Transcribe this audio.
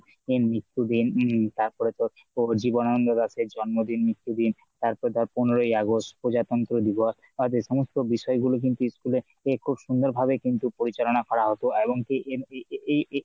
এর মৃত্যু দিন তারপর তো জীবননান্দ দাসের জন্মদিন মৃত্যু দিন তারপরে তো পনেরোই অগাস্ট প্রজাতন্ত্র দিবস আর এই সমস্ত বিষয় গুলো কিন্তু school এর থেকে কিন্তু খুব সুন্দর ভাবে পরিচালনা করা হতো এমন কি এ~ এ~ এ~ এ~ এ~